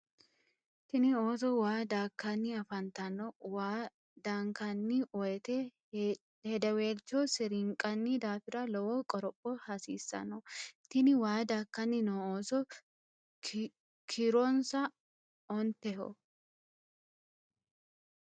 Tinni ooso waa daakanni afantanno. Waa daankanni woyeete hedeweelcho sirinqanni daafira lowo qoropho hasiisano. Tinni waa daakanni noo ooso kiironsa onteho.